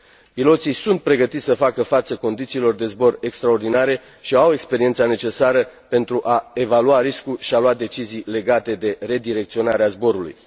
Piloții sunt pregătiți să facă față condițiilor de zbor extraordinare și au experiența necesară pentru a evalua riscul și a lua decizii legate de redirecționarea zborului.